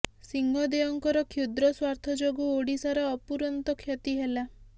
ସିଂହଦେଓଙ୍କର କ୍ଷୁଦ୍ର ସ୍ୱାର୍ଥ ଯୋଗୁଁ ଓଡିଶାର ଅପୁରନ୍ତ କ୍ଷତି ହେଲା